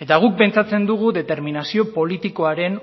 eta guk pentsatzen dugu determinazio politikoaren